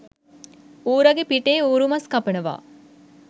ඌරගේ පිටේ ඌරුමස් කපනවා